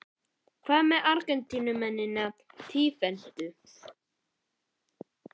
Hvað með Argentínumennina títtnefndu?